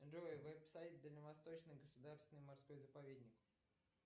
джой веб сайт дальневосточный государственный морской заповедник